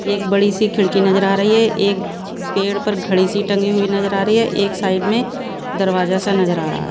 एक बड़ी सी खिड़की नजर आ रही है एक पेड़ पर घड़ी सी टंगी हुई नजर आ रही है एक साइड में दरवाजा सा नजर आ रहा --